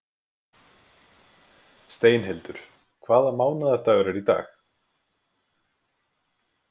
Steinhildur, hvaða mánaðardagur er í dag?